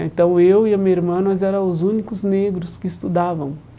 Ah Então, eu e a minha irmã, nós era os únicos negros que estudavam.